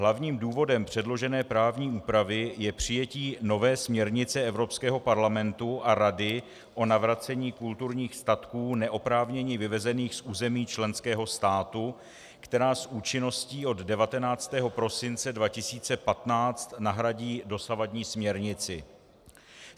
Hlavním důvodem předložené právní úpravy je přijetí nové směrnice Evropského parlamentu a Rady o navracení kulturních statků neoprávněně vyvezených z území členského státu, která s účinností od 19. prosince 2015 nahradí dosavadní směrnici.